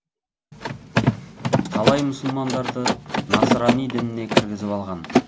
талай мұсылмандарды насрани дініне кіргізіп алған